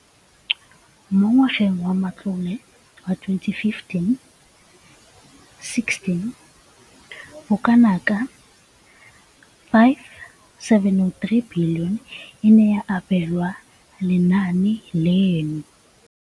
Mo ngwageng wa matlole wa 2015,16, bokanaka R5 703 bilione e ne ya abelwa lenaane leno.